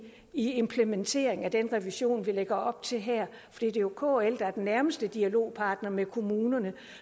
implementeringen af den revision vi lægger op til her det er jo kl der er den nærmeste dialogpartner med kommunerne